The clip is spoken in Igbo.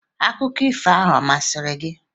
Akụkọ ifo ahụ ọ masịrị gị?